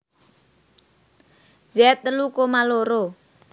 Z telu koma loro